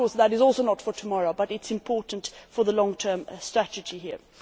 Of course, that is also not for tomorrow, but it is important for the long term statute here.